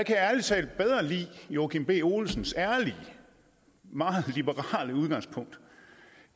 jeg ærlig talt bedre lide joachim b olsens ærlige meget liberale udgangspunkt